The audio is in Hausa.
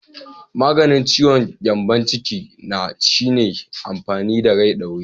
Maganin ciwon gyambon ciki na shine amfani da rai ɗaure.